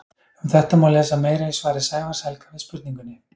Um þetta má lesa meira í svari Sævars Helga við spurningunni: